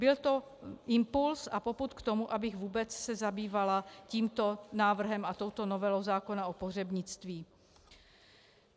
Byl to impuls a popud k tomu, abych vůbec se zabývala tímto návrhem a touto novelou zákona o pohřebnictví.